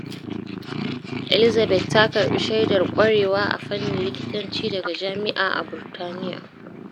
Elizabeth ta karɓi shaidar ƙwarewa a fannin likitanci daga jami’a a Burtaniya.